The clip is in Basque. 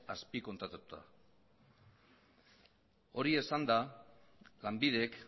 azpikontratatuta hori esanda lanbidek